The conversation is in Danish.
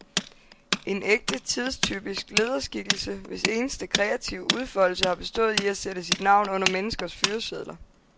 En ægte, tidstypisk lederskikkelse, hvis eneste kreative udfoldelse har bestået i at sætte sit navn under menneskers fyresedler.